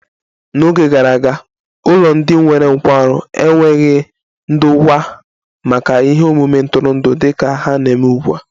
N'Oge gara aga, ụlọ ndị nwere nkwarụ enweghị ndokwa maka ihe omume ntụrụndụ dị ka ha na-eme ugbu a